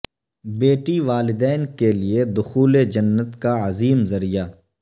بیٹی والدین کے لیے دخول جنت کا عظیم ذریعہ